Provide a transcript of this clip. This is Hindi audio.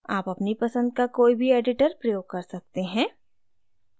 आप अपनी पसंद का कोई भी editor प्रयोग कर सकते हैं